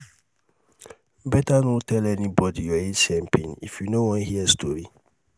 beta no tell anybody your atm pin if you no wan hear story